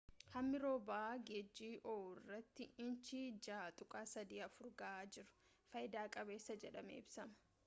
hammi roobaa geejii oohuu irratti inchii 6.34 gahaa jiru faayida qabeessa jedhamee ibsama